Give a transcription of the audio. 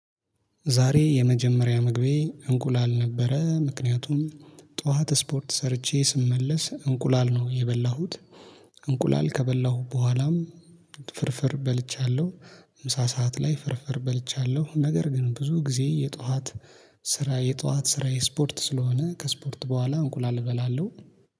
ዛሬ የመጀመሪያ መግቢያ እንቁላል ነበረ ምክንያቱም ጠዋት ስፖርት ሰርቼ ስመለስ እንቁላል ነው የበላሁት እንቁላል ከበላሁ በኋላም ፍርፍር በልቻለሁ። ምሳ ሰዓት ላይ ፍርፍር በልቻለሁ። ነገር ግን ብዙ ጊዜ የጧት ስራ የጧት ስራ የስፖርት ስለሆነ ከስፖርት በኋላ እንቁላል እበላለሁ